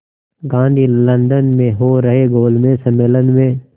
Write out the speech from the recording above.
Gandhi London में हो रहे गोलमेज़ सम्मेलन में